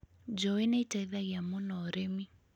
Njũũĩ nĩ iteithagia mũno ũrĩmi